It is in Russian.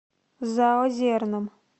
заозерным